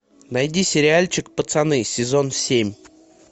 найди сериальчик пацаны сезон семь